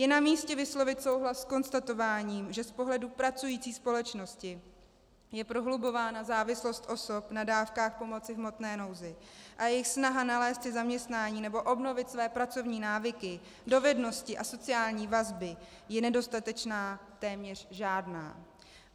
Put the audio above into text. Je namístě vyslovit souhlas s konstatováním, že z pohledu pracující společnosti je prohlubována závislost osob na dávkách pomoci v hmotné nouzi a jejich snaha nalézt si zaměstnání nebo obnovit své pracovní návyky, dovednosti a sociální vazby je nedostatečná, téměř žádná.